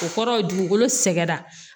O kɔrɔ ye dugukolo sɛgɛrɛ